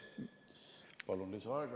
Palun kolm minutit lisaaega.